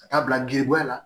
Ka taa bila gerebuya la